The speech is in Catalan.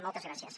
moltes gràcies